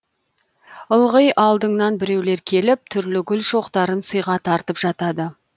ылғи алдыңнан біреулер келіп түрлі гүл шоқтарын сыйға тартып жатады